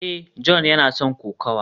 a, John yana son kokawa